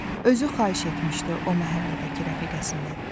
Özü xahiş etmişdi o məhəllədəki rəfiqəsindən.